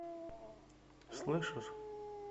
слышишь